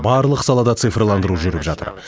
барлық салада цифрландыру жүріп жатыр